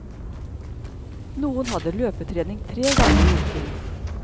Noen hadde løpetrening tre ganger i uken.